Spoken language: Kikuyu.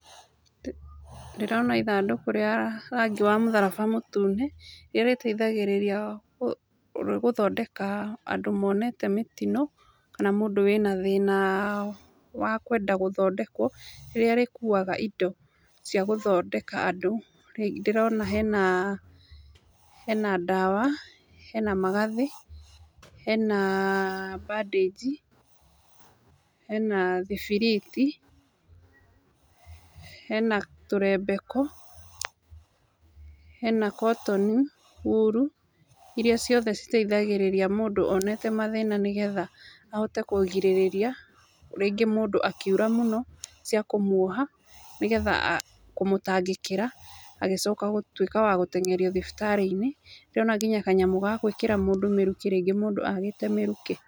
Ndĩrona ithandũkũ rĩa rangi wa mũtharaba mũtune, rĩrĩa rĩteithagĩrĩria gũthondeka andũ monete mĩtino, kana mũndũ wĩna thĩnaa wa kwenda gũthondekwo, rĩrĩa rĩkuaga indo, cia gũthondeka andũ. Nĩndĩrona hena hena ndawa, hena magathĩ, hena bandĩnji, hena thibiriti, hena tũremebeko, hena kotoni wuru, iria ciothe citeithagĩrĩria mũndũ onete mathĩna nĩgetha ahote kũgirĩrĩria, rĩngĩ mũndũ akiura mũno, cia kũmuoha, nĩgetha a kũmũtangĩkĩra, agĩcoka gũtuĩka wa gũtengerio thibitarĩ-inĩ, nĩndĩrona kinya kanyamu ga gwĩkĩra mũndũ mĩrukĩ rĩngĩ mũndũ agĩte mĩrukĩ.